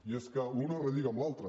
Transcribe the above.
i és que una relliga amb l’altra